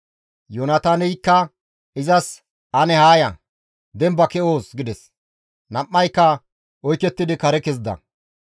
Yoonataaneykka izas, «Ane haa ya! Demba ke7oos!» gides; nam7ayka oykettidi kare kezida.